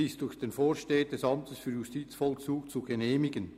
«Sie ist durch den Vorsteher des Amtes für Justizvollzug zu genehmigen».